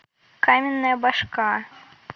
каменная башка